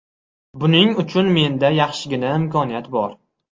Buning uchun menda yaxshigina imkoniyat bor.